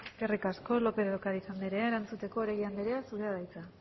eskerrik asko lópez de ocariz andrea erantzuteko oregi andrea zurea da hitza